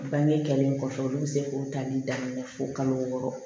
Bange kɛlen kɔfɛ olu bɛ se k'o tali daminɛ fo kalo wɔɔrɔ